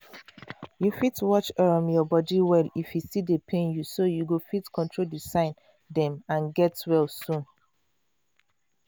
you fit watch um your body well if e still dey pain youso you go fit control the sign dem and get well um